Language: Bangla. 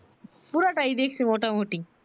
পুরা টাই দেখছি মোটা মুটি